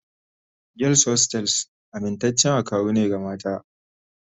Girls hostels amintaccen akawu ne ga mata